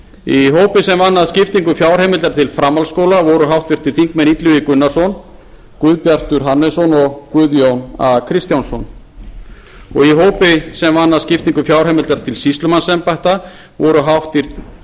í hópi sem vann að skiptingu fjárheimildar til framhaldsskóla voru háttvirtur þingmaður illugi gunnarsson guðbjartur hannesson og guðjón a kristjánsson í hópi sem vann að skiptingu fjárheimildar til sýslumannsembætta voru